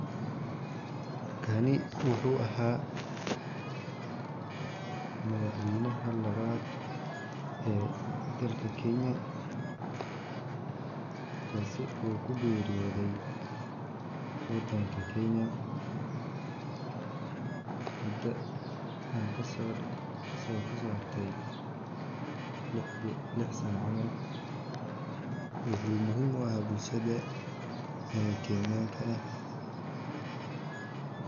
Kani wuxuu aha madaxweynaha lawad ee dalka kenya kasi oo ku geriyodhe wadanka kenya mida ee kaso harte lix sana kabacdi wuxuu muhiim u aha bulshaada ee kenyanka ah.